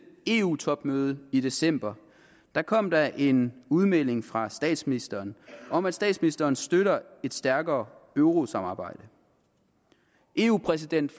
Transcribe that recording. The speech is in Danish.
eu topmøde i december kom der en udmelding fra statsministeren om at statsministeren støtter et stærkere eurosamarbejde eu præsident